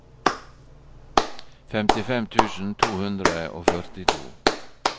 femtifem tusen to hundre og førtito